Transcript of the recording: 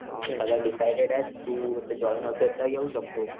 सगळं; डिसाईडेड आहे तू आता जॉईन होतोय तर येऊ शकतो.